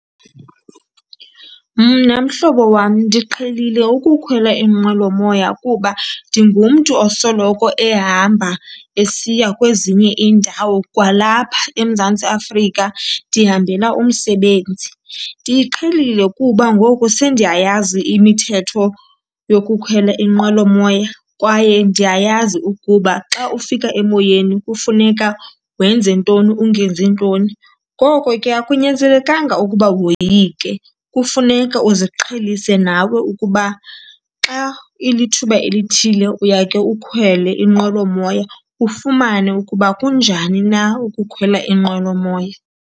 Mna mhlobo wam ndiqhelile ukukhwela inqwelomoya kuba ndingumntu osoloko ehamba esiya kwezinye iindawo kwalapha eMzantsi Afrika, ndihambela umsebenzi. Ndiyiqhelile kuba ngoku sendiyayazi imithetho yokukhwela inqwelomoya kwaye ndiyayazi ukuba xa ufika emoyeni kufuneka wenze ntoni ungenzi ntoni. Ngoko ke akunyanzelekanga ukuba woyike, kufuneka uziqhelise nawe ukuba xa ilithuba elithile uyake ukhwele inqwelomoya ufumane ukuba kunjani na ukukhwela inqwelomoya.